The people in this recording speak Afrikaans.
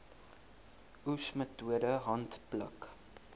oes metode handpluk